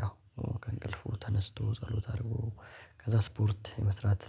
ያው ከእንቅልፉ ተነስቶ ጸሎት አድርጎ ከዛ ስፖርት መስራት